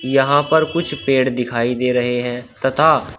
यहां पर कुछ पेड़ दिखाई दे रहे है तथा--